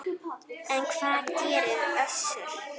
En hvað segir Össur?